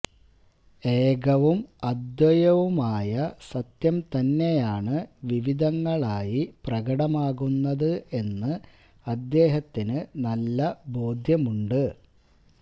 ഏകവും അദ്വയവുമായ സത്യം തന്നെയാണ് വിവിധങ്ങളായി പ്രകടമാകുന്നത് എന്ന് അദ്ദേഹത്തിന് നല്ല ബോധ്യമുണ്ട്